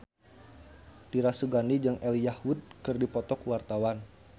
Dira Sugandi jeung Elijah Wood keur dipoto ku wartawan